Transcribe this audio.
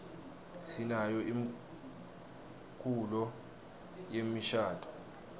sinayo imkulo yemishaduo